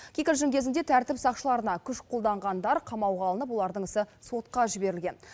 кикілжің кезінде тәртіп сақшыларына күш қолданғандар қамауға алынып олардың ісі сотқа жіберілген